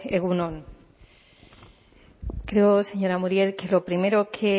egun on creo señora muriel que lo primero que